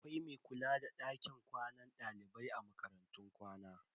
Akwai mai kula da dakin kwanan dalibai a makarantun kwana.